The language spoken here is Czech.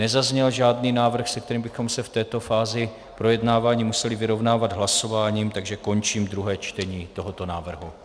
Nezazněl žádný návrh, se kterým bychom se v této fázi projednávání museli vyrovnávat hlasováním, takže končím druhé čtení tohoto návrhu.